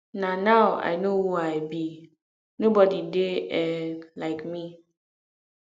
na now i no who i be nobody dey um like me